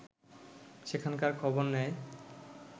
সেখানকার খবর নেয়